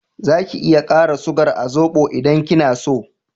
Za ki iya kara sugar a zobo idan kina so